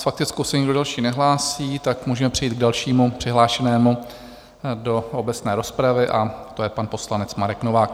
S faktickou se nikdo další nehlásí, tak můžeme přejít k dalšímu přihlášenému do obecné rozpravy, a to je pan poslanec Marek Novák.